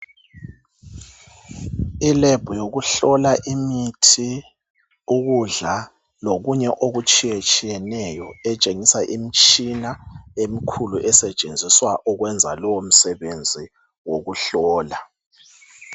I lab yokuhlola imithi ukudla lokunye oku tshiye tshiyeneyo etshengisa imtshina emkhulu esetshenziswa ukwenza lowo msebenzi wokuhlola .